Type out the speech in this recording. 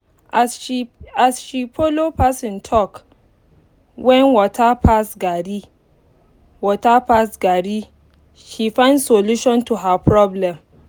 as she follow person talk when water pass garri water pass garri she find solution to her problem